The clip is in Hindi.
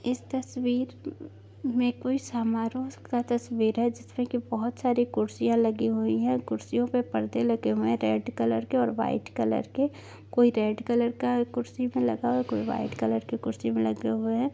इस तस्वीर मे कोई समारोह का तस्वीर हैं जिसमे की बहुत सारे कुर्सियां लगी हुई हैं और कुर्सियों पे पर्दे लगे हुए हैं रेड कलर के और व्हाइट कलर के कोई रेड कलर का कुर्सी मे लगा हुआ हैं कोई व्हाइट कलर की कुर्सी मे लगे हूए हैं।